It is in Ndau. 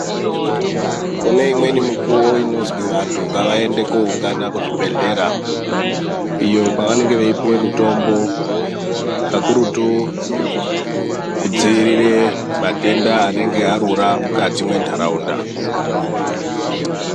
Kune imweni mukuwo inonzwi vantu ngavaende kunoungana kuzvibhehlera iyo kwavanenge veipuwa mitombo kakurutu kudzivirira matenda anenge arura mukati mendaraunda.